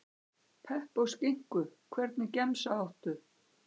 Pepp og skinku Hvernig gemsa áttu?